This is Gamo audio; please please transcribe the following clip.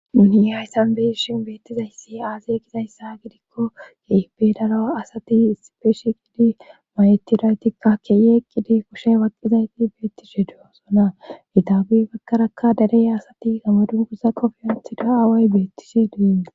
Duniye hayssan beyi shin beettizayssi aaze gizayssa gidikko kei bedaro asati isipeeshi gidi mayetidaytikka keye qidi koshe waqqizayti beetti she duyosona itaabi bakkarakka dereya asati gamoduguza qofiyantida away beettishe duyin.